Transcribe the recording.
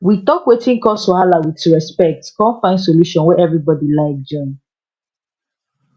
she talk wetin cause wahala with respect con find solution wey everybody like join